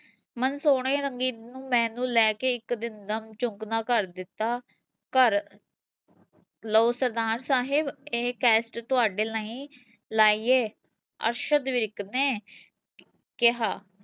ਮਨ ਸੋਹਣੇ ਰੰਗੀ ਮੈਨੂੰ ਲੈ ਕੇ ਇੱਕ ਦਿੰਦਾ ਕਰ ਦਿੱਤਾ, ਘਰ ਲਓ ਸਰਦਾਰ ਸਾਹਿਬ ਇਹ ਕੈਸਟ ਤੁਹਾਡੇ ਲਈ ਲਾਈ ਹੈ ਅਰਸ਼ਦ ਵਿਰਕ ਨੇ ਕਿਹਾ